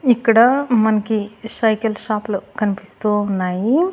ఇక్కడా మనకి సైకిల్ షాప్లూ కనిపిస్తూ ఉన్నాయి.